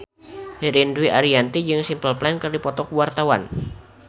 Ririn Dwi Ariyanti jeung Simple Plan keur dipoto ku wartawan